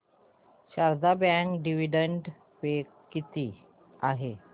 Sharda bank dividend pay किती आहे